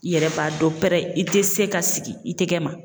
I yɛrɛ b'a dɔn pɛrɛ i tɛ se ka sigi i tɛ kɛ ma